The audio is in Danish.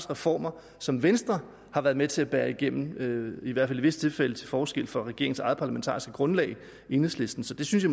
reformer som venstre har været med til at bære igennem i hvert fald i visse tilfælde til forskel fra regeringens eget parlamentariske grundlag enhedslisten så det synes